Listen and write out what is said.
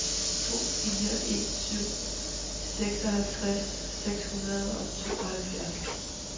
to fire en syv seksoghalvtreds seks hundrede og tooghalvfjerds